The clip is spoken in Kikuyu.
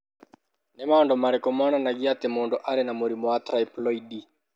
Nĩ maũndũ marĩkũ monanagia atĩ mũndũ arĩ na mũrimũ wa Triploidy?